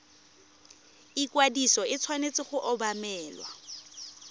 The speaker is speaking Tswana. ikwadiso e tshwanetse go obamelwa